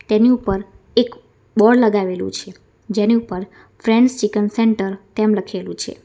તેની ઉપર એક બોર્ડ લગાવેલું છે જેની ઉપર ફ્રેડસ ચિકન સેન્ટર તેમ લખેલું છે.